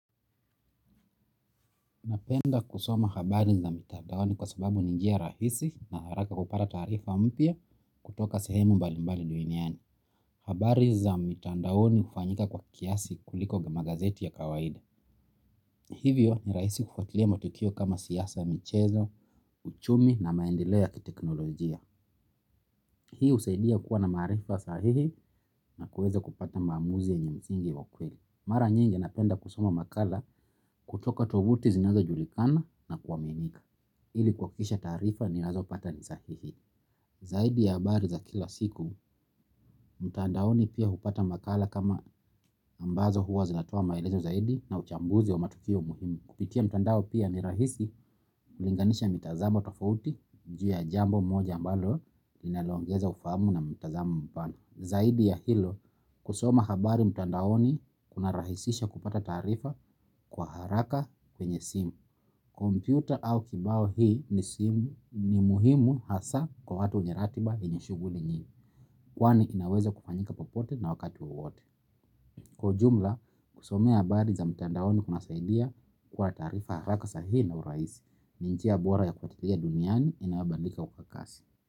Napenda kusoma habari za mitandaoni kwa sababu ni njia rahisi na haraka kupata taarifa mpya kutoka sehemu mbalimbali duniani. Habari za mitandaoni hufanyika kwa kiasi kuliko kwa magazeti ya kawaida. Hivyo ni rahisi kufuatilia matukio kama siasa mchezo, uchumi na maendeleo ya kiteknolojia. Hii husaidia kuwa na maarifa sahihi na kuweza kupata maamuzi yenye msingi wa kweli. Mara nyingi napenda kusoma makala kutoka tovuti zinazo julikana na kuaminika. Ili kuhakikisha taarifa ninazo pata ni sahihi zaidi ya habari za kila siku mtandaoni pia hupata makala kama ambazo huwa zinatoa maelezo zaidi na uchambuzi wa matukio muhimu kupitia mtandao pia ni rahisi kulinganisha mitazamo tofauti juu ya jambo moja ambalo linalo ongeza ufamu na mitazamo mpana zaidi ya hilo kusoma habari mtandaoni kuna rahisisha kupata taarifa kwa haraka kwenye simu. Kompyuta au kibao hii ni ni muhimu hasa kwa watu wenye ratiba enye shughuli nyingi. Kwani inaweza kufanyika popote na wakati wowote. Kwa ujumla, kusomea habari za mtandaoni kuna saidia kwa taarifa haraka sahihi na urahisi. Ni njia bora ya kufuatilia duniani inayobadilika kwa kasi.